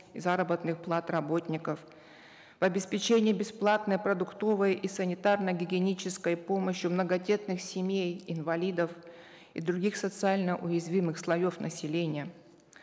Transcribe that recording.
заработных плат работников в обеспечение бесплатной продуктовой и санитарно гигиенической помощью многодетных семей инвалидов и других социально уязвимых слоев населения